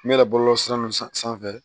N bɛ yɛlɛ bɔlɔlɔ sira ninnu sanfɛ